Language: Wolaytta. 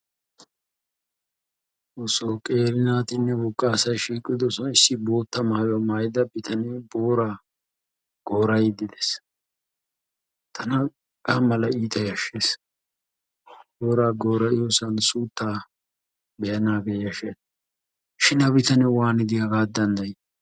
Xoosso qeeri naatinne wogga asay shiiqidosan issi bootta maayuwa maayida bitanee booraa goora"iidi des. Tana hegaa malay iita yashes. Boora goora"iyoosan suuttaa be"anaagee yashshes shin ha bitanee waanidi hagaa dandayi?